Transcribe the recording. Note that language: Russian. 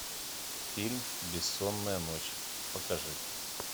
фильм бессонная ночь покажи